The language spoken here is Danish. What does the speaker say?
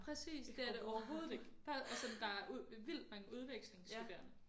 Præcis det er det overhovedet ikke. Der og sådan der er vildt mange udvekslingsstuderende